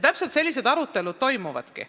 Täpselt sellised arutelud kodudes toimuvadki.